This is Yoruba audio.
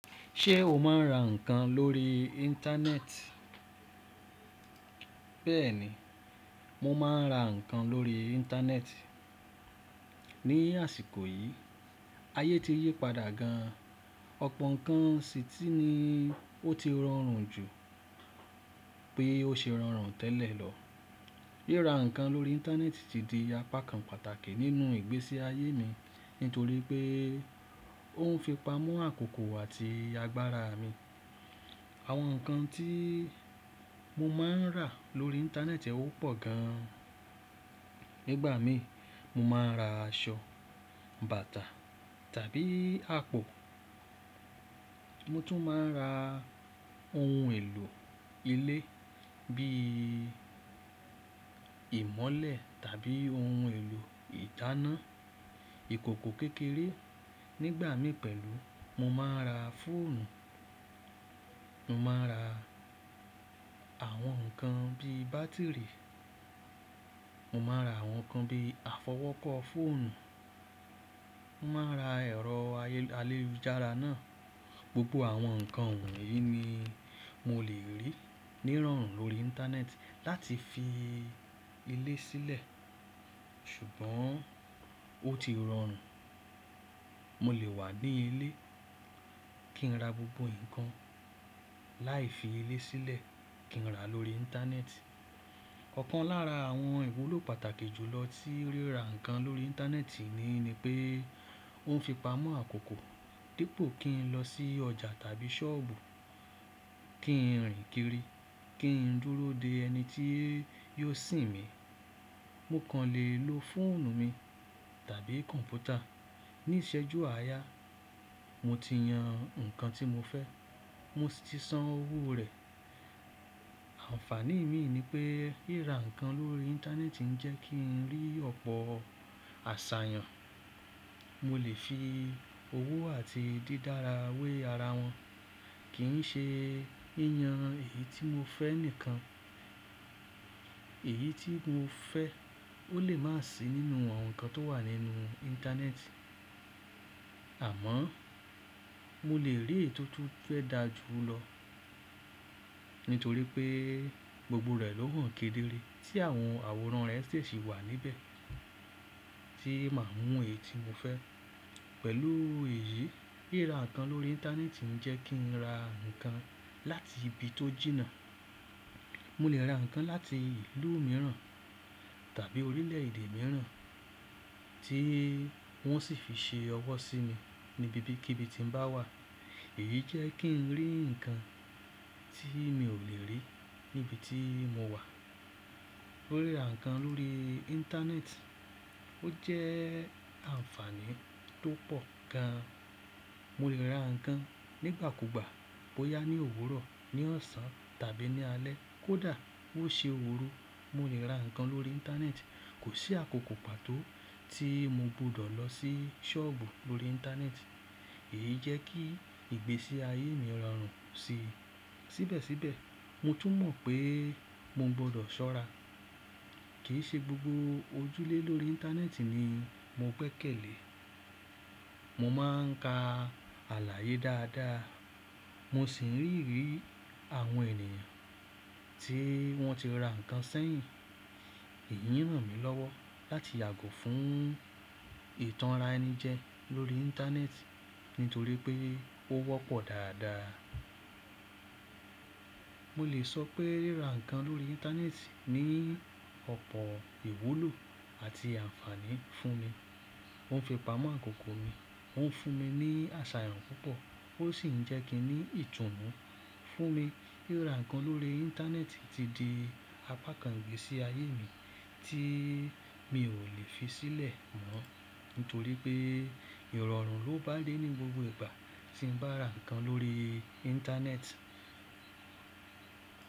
Ṣé o máa ń ra ǹkan lórí Íńtánẹ́ẹ̀tì? Bẹ́ẹ̀ni, mo máa ń ra ǹkan lórí Íńtánẹ́ẹ̀tì. Ni àsìkò yìí, ayé ti yí padà gan, ọ̀pọ̀ ǹkan sì ti ní ó ti rọrùn jù pé ó ṣe rọrùn tẹ́lẹ̀ lọ. Ríra ǹkan lórí Íńtánẹ́ẹ̀tì ti di apá kan pàtàkì nínú ìgbésí ayé mi nítorí pé ó ń fi pa mu àkókò àti agbára mi. Àwọn ǹkan tí mo máa ń rà lórí Íńtánẹ́ẹ̀tì ó pò gan. Nígbà mí, mo máa ń ra aṣọ, bàtà tàbí àpò. Mo tún máa ń ra ohun èlò ilé bíi ìmọ́lẹ̀ tàbí ohun èlò ìdáná, ìkòkò kékeré. Nígbà mí pẹ̀lú, mo máa ń ra fóònù, mo máa ń ra àwọn ǹkan bíi bátìrì, mo máa ń ra àwọn ǹkan bíi àfọwọ́kọ́ fóònù, mo máa ra ẹ̀rọ ayélujára náà. Gbogbo àwọn ǹkan wọ̀nyí ni mo lè rí ní rọrùn lórí Íńtánẹ́ẹ̀tì láti fi ilé sílẹ̀. Ṣùgbọ́n ó ti rọrùn. Mo lè wà ní ilé kí n ra gbogbo ǹkan láì fi ilé sílẹ̀ kí n rà lórí Íńtánẹ́ẹ̀tì. Ọ̀kan lára àwọn ìwúlò pàtàkì jù lọ tí ríra ǹkan lórí Íńtánẹ́ẹ̀tì ni pé ó ń fi pamọ́ àkókò. Dípo kí n lọ sí ọjà tàbí ṣọ́ọ̀bù kí n rìn kiri, kí n dúró de ẹni tí yóò sìn mi. Mo kàn lè lo fóònù mi tàbí kọ̀mpútà. Ni ìṣẹ́jú àárya, mo ti yan ǹkan tí mo fẹ́, mo sì ti san owó rẹ̀. Ànfàní min ni pé ríra ǹkan lórí Íńtánẹ́ẹ̀tì ń jẹ́ kí n rí ọ̀pọ̀ àṣàyàn. Mo lè fi owó àti dídára wé ara wọn. Kì ín ṣe yi yan èyí tí mo fẹ́ nìkan, èyí tí mo fẹ́ ó lè má sì nínú àwọn ǹkan tó wà nínú Íńtánẹ́ẹ̀tì. Àmọ́ mo lè rí ètùtù fé dáa jù lọ nítorí pé gbogbo rẹ̀ ló hàn kedere. Tí àwọn àwòrán rẹ̀ ṣe sì wà níbẹ̀ tí màá mú èyí tí mo fẹ́. Pẹ̀lú èyí, ríra ǹkan lórí Íńtánẹ́ẹ̀tì ń jẹ́ kí n ra ǹkan láti ibi tó jìnnà. Mo lè ra ǹkan láti ìlú mìíràn tàbí orílẹ̀èdè mìíràn tí wọ́n sì fi ṣe ọwọ́ sí mi níbí kí ibi tí n bá wà. Èyí jẹ́ kí n rí ǹkan tí mi ò lè rí níbi tí mo wà. Ríra ǹkan lórí Íńtánẹ́ẹ̀tì ó jẹ́ ànfàní tó pò gan. Mo lè ra ǹkan nígbà kúgbà bóyá ní òwúrọ̀, ní ọ̀sán tàbí ní alẹ́ kó dà, bó ṣe òrú. Mo lè ra ǹkan lórí Íńtánẹ́ẹ̀tì. Kò sí àkókò pàtó tí mo gbọdọ̀ lọ sí ṣọ́ọ̀bù lórí Íńtánẹ́ẹ̀tì. Èyí jẹ́ kí ìgbésí ayé mi rọrùn sí. Síbẹ̀síbẹ̀, mo tún mọ̀ pé mo gbọdọ̀ ṣọ́ra. Kì í ṣe gbogbo ojúlẹ̀ lórí Íńtánẹ́ẹ̀tì ni mo gbẹ́ kẹlẹ̀. Mo máa ń ka aláyé dáadáa, mo sì n ríìrí àwọn ènìyàn tí wọ́n ti ra ǹkan sẹ́yìn. Èyí ń ràn mí lọ́wọ́ láti yàgò fún ìtàn ra ẹni jẹ lórí Íńtánẹ́ẹ̀tì nítorí pé ó wọ́pọ̀ dáadáa. Mo lè sọ pé ríra ǹkan lórí Íńtánẹ́ẹ̀tì ní ọ̀pọ̀ ìwúlò àti ànfàní fún mi. Ó ń fi pamọ́ àkókò mi, ó ń fún mi ní àṣàyàn púpọ̀ ó sì ń jẹ́ kí ní ìtùnú fún mi. Ríra ǹkan lórí Íńtánẹ́ẹ̀tì ti di apá kan ìgbésí ayé mi tí mi ò lè fi sílẹ̀ mọ́ nítorí pé ìrọ̀rùn ló bá dé ní gbogbo ìgbà tí n bá ra ǹkan lórí Íńtánẹ́ẹ̀tì.